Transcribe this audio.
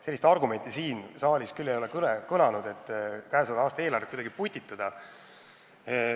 Sellist argumenti siin saalis küll ei ole kõlanud, et käesoleva aasta eelarvet on vaja kuidagi putitada.